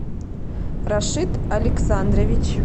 рашид александрович